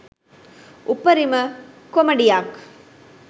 උපරිම කොමඩියක්